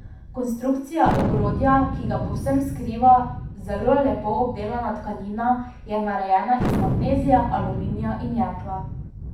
Konstrukcija ogrodja, ki ga povsem skriva zelo lepo obdelana tkanina, je narejena iz magnezija, aluminija in jekla.